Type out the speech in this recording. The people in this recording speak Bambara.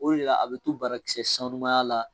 O de la a bɛ to barakisɛ sanumanya la